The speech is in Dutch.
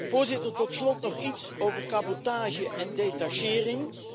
Voorzitter, tot slot nog iets over cabotage en detachering.